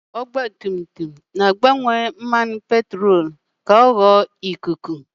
Kaburetọ ọgbatumtum na-agbanwe mmanụ petrolu ka ọ ghọọ uzuọkụ ka ya na ikuku wee gwọkọta.